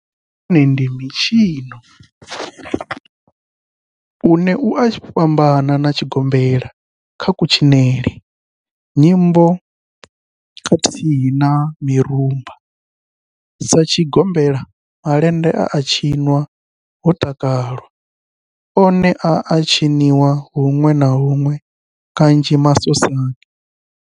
Malende one ndi mitshino une u a fhambana na tshigombela kha kutshinele, nyimbo khathihi na mirumba. Sa tshigombela, malende a tshinwa ho takalwa, one a a tshiniwa hunwe na hunwe kanzhi masosani.